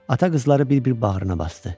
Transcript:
Ata qızları bir-bir bağrına basdı.